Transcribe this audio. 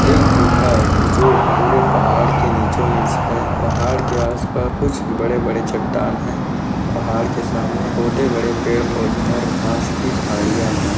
एक गुफा जो पूरे पहाड़ के निचो नीच है पहाड़ के आस पास कुछ बड़े बड़े चट्टान है। पहाड़ के सामने छोटे बड़े पेड़ पौधे और घास की झाडिया है।